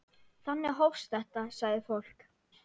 Þannig hófst þetta, sagði fólk.